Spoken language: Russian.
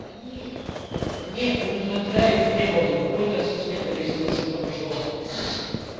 не удовлетворяю их требованиям какой-то сантиметр если уж на то пошло